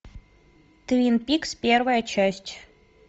твин пикс первая часть